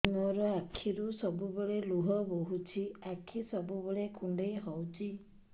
ମୋର ଆଖିରୁ ସବୁବେଳେ ଲୁହ ବୋହୁଛି ଆଖି ସବୁବେଳେ କୁଣ୍ଡେଇ ହଉଚି